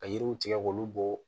Ka yiriw tigɛ k'olu bɔ